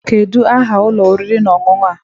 Kedu aha ụlọ oriri na ọṅụṅụ a?